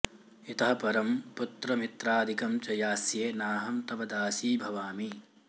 इतः परं पुत्रमित्रादिकं च यास्ये नाहं तव दासी भवामि